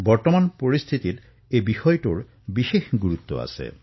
বৰ্তমানৰ পৰিস্থিতিত এই বিষয় বিশেষভাৱে গুৰুত্বপূৰ্ণ